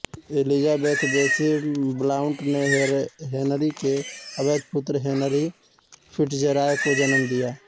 Elizabeth Bessie Blount ने Henry के अवैध पुत्र हेनरी फिट्ज़रॉय को जन्म दिया